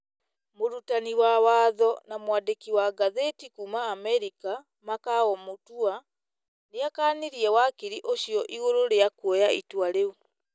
Mũrutani wa watho na mwandĩki wa ngathĩti kuuma Amerika, Makau Mũtua, nĩ akanirie wakiri ũcio igũrũ rĩa kuoya itua rĩu.